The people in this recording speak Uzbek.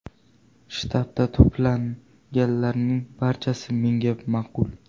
Shtabda to‘planganlarning barchasi menga ma’qul.